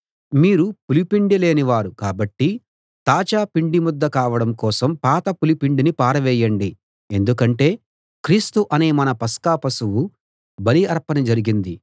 మీరు పులిపిండి లేని వారు కాబట్టి తాజా పిండిముద్ద కావడం కోసం పాత పులిపిండిని పారవేయండి ఎందుకంటే క్రీస్తు అనే మన పస్కా పశువు బలి అర్పణ జరిగింది